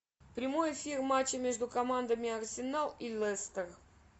прямой эфир матча между командами арсенал и лестер